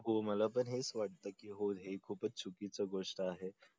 हो मला पण हेच वाटत की हो ही खूपच चुकीची गोष्ट आहे